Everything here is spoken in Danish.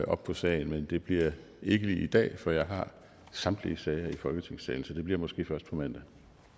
op på sagen men det bliver ikke lige i dag for jeg har samtlige sager i folketingssalen så det bliver måske først på mandag